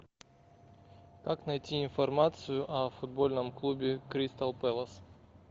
как найти информацию о футбольном клубе кристал пэлас